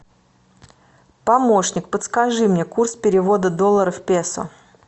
помощник подскажи мне курс перевода доллара в песо